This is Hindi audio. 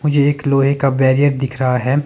मुझे एक लोहे का बेरियर दिख रहा है।